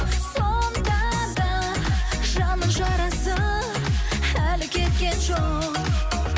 сонда да жанның жарасы әлі кеткен жоқ